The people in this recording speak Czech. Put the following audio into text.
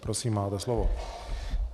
Prosím, máte slovo.